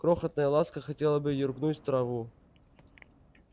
крохотная ласка хотела бы юркнуть в траву